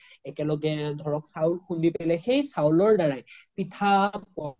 একেলগে ধৰক চাউল খুন্দে সেই চাউলৰ দাৰাই পিঠা